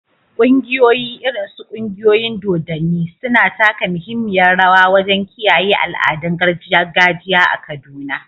Ƙungiyoyi, irin su ƙungiyoyin dodanni, suna taka muhimmiyar rawa wajen kiyaye al’adun gargajiya a Kaduna.